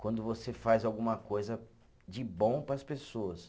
Quando você faz alguma coisa de bom para as pessoas.